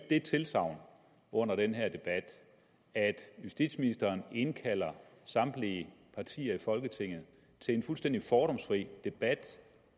det tilsagn under den her debat at justitsministeren indkalder samtlige partier i folketinget til en fuldstændig fordomsfri debat